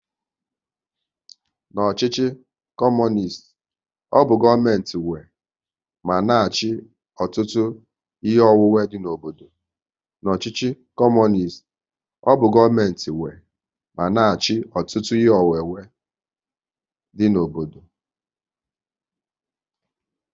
N'ọchịchị Kọmunist, ọ bụ gọọmenti nwe ma na achị ọtụtụ ihe onwunwe dị n'obodo